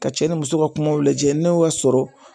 Ka cɛ ni muso ka kumaw lajɛ ne y'o sɔrɔ